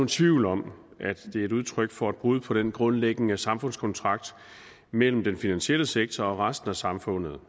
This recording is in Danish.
tvivl om at det er et udtryk for et brud på den grundlæggende samfundskontrakt mellem den finansielle sektor og resten af samfundet